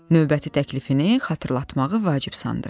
Növbəti təklifini xatırlatmağı vacib sandı.